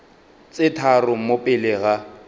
tse tharo mo pele ga